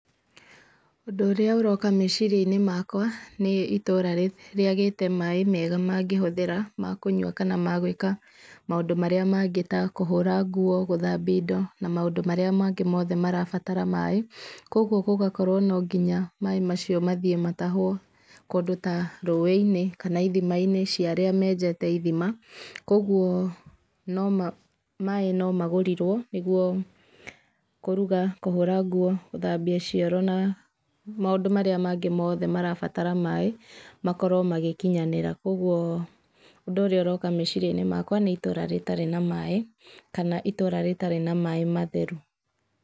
Ũndũ ũrĩa ũroka meciria-inĩ makwa nĩ itũra rĩagĩte maĩ mega mangĩhũthĩra ma kũnywa kana magũĩka maũndũ marĩa mangĩ ta kũhũra nguo gũthambia indo na maũndũ marĩa mangĩ mothe marabatara maĩ kwa ũguo gũgakorwo no nginya maĩ macio mathĩe matahwo kũndũ ta rũi-inĩ kana ithima-inĩ cai arĩa menjete ithima kwa ũgũo maĩ no magũrirwo nĩgwo kũruga kũhũra nguo gũthambia cioro na maũndũ marĩa mangĩ mothe marabatara maĩ makorwo magĩkinyanĩra kwa ũguo ũndũ ũrĩa ũroka meciria-inĩ makwa nĩ ta itũra rĩtarĩ na maĩ kana itũra rĩtarĩ na maĩ matheru.